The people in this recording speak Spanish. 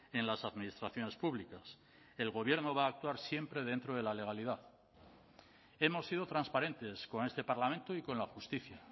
en las administraciones públicas el gobierno va a actuar siempre dentro de la legalidad hemos sido transparentes con este parlamento y con la justicia